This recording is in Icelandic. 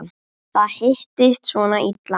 Það hittist svona illa á.